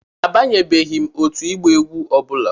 Abanyebeghị m otu ịgba egwu ọ bụla.